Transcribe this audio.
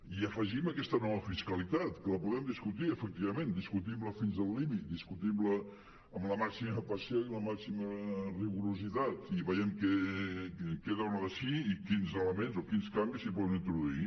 i hi afegim aquesta nova fiscalitat que la podem discutir efectivament discutim la fins al límit discutim la amb la màxima passió i el màxim rigor i vegem què dona de si i quins elements o quins canvis s’hi poden introduir